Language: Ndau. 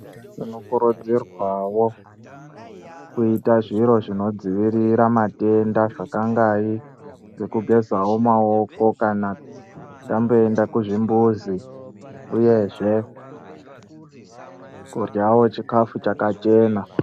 Tinokurudzirwawo kuita zviro zvinodzivirira matenda ,zvakangai ngekugezva maoko kana tamboenda kuzvimbuzi uyezve kuryawo chikafu chakachena.